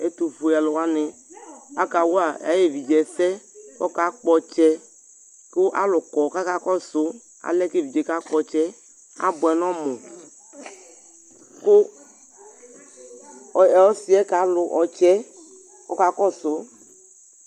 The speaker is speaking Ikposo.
ɛtu fue alu wʋani aka wa ay'uvi ɛsɛ kaka kpɔ'tsɛ ku alu kɔ kaka kɔsu alɛ k'evidze di kakpɔ'tsɛ abʋɛ n'ɔmu ku ɔsiɛ kalu ɔtsɛɛ ɔka kɔsu